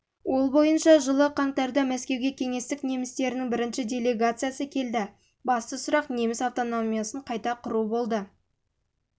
ол бойынша жылы қаңтарда мәскеуге кеңестік немістерінің бірінші делегациясы келді басты сұрақ неміс автономиясын қайта